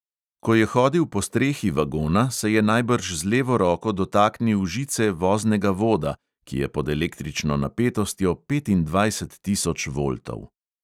Ko je hodil po strehi vagona, se je najbrž z levo roko dotaknil žice voznega voda, ki je pod električno napetostjo petindvajset tisoč voltov.